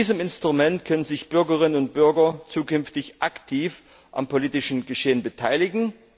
Mit diesem Instrument können sich Bürgerinnen und Bürger zukünftig aktiv am politischen Geschehen beteiligen.